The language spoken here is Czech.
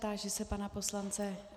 Táži se pana poslance.